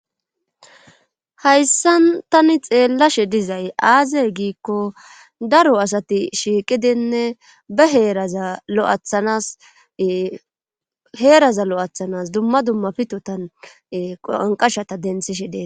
Hayssa tani xeellashe dizay aazey giikko daro asati shiiqidinne ba heeraza lo'athanas heeraza lo'athanas dumma dumma pitotan qanqashata denthi shedee.